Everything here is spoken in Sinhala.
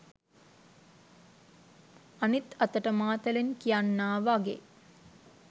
අනිත් අතට මාතලන් කියන්නා වගේ